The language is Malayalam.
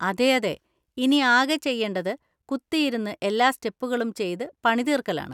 അതേയതെ! ഇനി ആകെ ചെയ്യേണ്ടത് കുത്തിയിരുന്ന് എല്ലാ സ്റ്റെപ്പുകളും ചെയ്ത് പണി തീർക്കലാണ്.